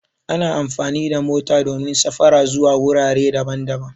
Ana amfani da mota domin safara zuwa wurare daban-daban